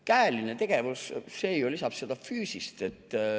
Käeline tegevus ju lisab füüsist.